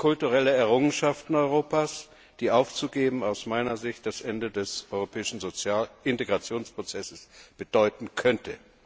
Beides sind kulturelle Errungenschaften Europas, die aufzugeben aus meiner Sicht das Ende des europäischen Sozialintegrationsprozesses bedeuten könnte.